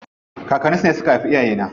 Kakanni su ne suka haifi iyaye.